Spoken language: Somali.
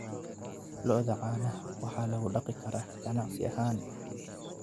Lo'da caanaha waxaa lagu dhaqi karaa ganacsi ahaan.